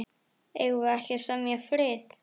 Eigum við ekki að semja frið.